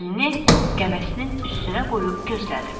Əlini qəməsinin üstünə qoyub gözlədi.